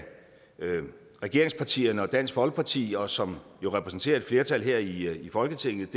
regeringspartierne og dansk folkeparti og som jo repræsenterer et flertal her i folketinget